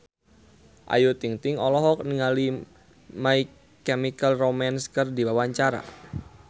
Ayu Ting-ting olohok ningali My Chemical Romance keur diwawancara